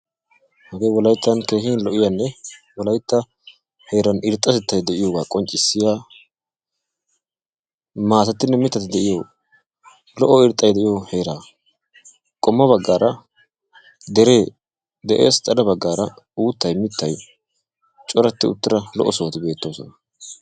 Hagee wolayttan keehi lo''iyanne woolaytta heeran irxxatettay de'iyogaa qonccissiya maatatinne mittati de'iyo lo''o irxxay de'iyo heeraa. Qommo baggaara deree de'ees, xade baggaara uuttay mittay coratti uttida lo''o sohoti beettoosona.